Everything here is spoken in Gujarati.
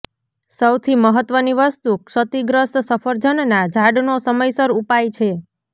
સૌથી મહત્વની વસ્તુ ક્ષતિગ્રસ્ત સફરજનના ઝાડનો સમયસર ઉપાય છે